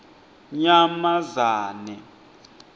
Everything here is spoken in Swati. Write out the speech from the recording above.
nyamazane